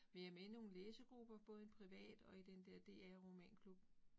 Men jeg med i nogle læsegrupper, både en privat og i den der DR Romanklub